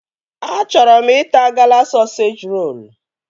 Achọrọ m ịta Gala sọseji rolu